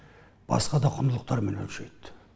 басқа да құндылықтармен өлшейді